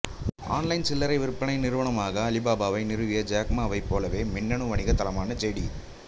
online சில்லறை விற்பனை நிறுவனமான அலிபாபாவை நிறுவிய ஜேக் மாவைப் போலவே மின்னணு வணிக தளமான ஜேடி